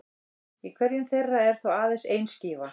Í hverjum þeirra er þó aðeins ein skífa.